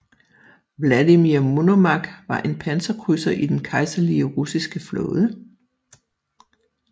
Vladimir Monomakh var en panserkrydser i Den Kejserlige Russiske Flåde